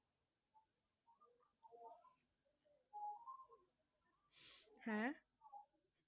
হেঁ